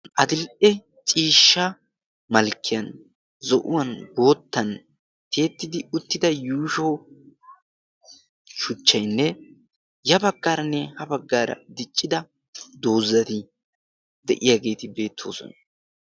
adil77e ciishsha malkkiyan zo7uwan boottan tiettidi uttida yuusho shuchchainne ya baggaaranne ha baggaara diccida doozzati de7iyaageeti beettoosona